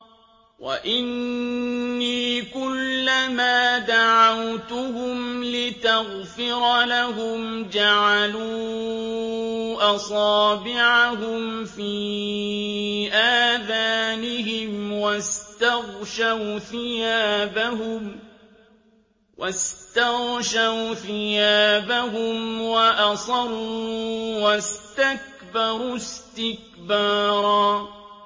وَإِنِّي كُلَّمَا دَعَوْتُهُمْ لِتَغْفِرَ لَهُمْ جَعَلُوا أَصَابِعَهُمْ فِي آذَانِهِمْ وَاسْتَغْشَوْا ثِيَابَهُمْ وَأَصَرُّوا وَاسْتَكْبَرُوا اسْتِكْبَارًا